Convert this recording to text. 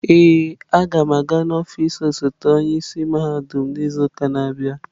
Ee, a ga m aga n'ọfịs osote onye isi mahadum n'izu na-abịa.